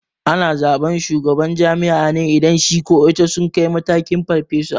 Ana zaɓan shugaban jami'a ne idan shi ko ita sun kai matakin farfesa